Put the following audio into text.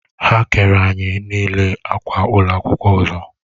Ha kere anyi n'ile akwa ụlọ akwụkwọ ọzọ